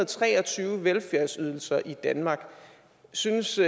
tre og tyve velfærdsydelser i danmark synes